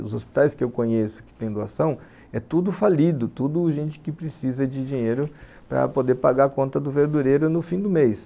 Os hospitais que eu conheço que tem doação, é tudo falido, tudo gente que precisa de dinheiro para poder pagar a conta do verdureiro no fim do mês.